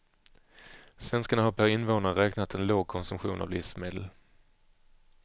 Svenskarna har per invånare räknat en låg konsumtion av livsmedel.